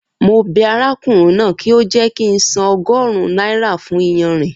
Mo bẹ arákùnrin náà kí ó jẹ́ kí ń san ogórun náírà fún iyanrìn